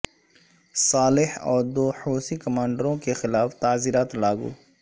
صالح اور دو حوثی کمانڈروں کے خلاف تعزیرات لاگو